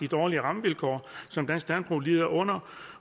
dårlige rammevilkår som dansk landbrug lider under